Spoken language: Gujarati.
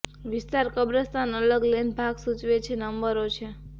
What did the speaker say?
વિસ્તાર કબ્રસ્તાન અલગ લેન ભાગ સૂચવે છે નંબરો છે